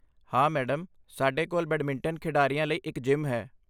ਹਾਂ, ਮੈਡਮ, ਸਾਡੇ ਕੋਲ ਬੈਡਮਿੰਟਨ ਖਿਡਾਰੀਆਂ ਲਈ ਇੱਕ ਜਿਮ ਹੈ।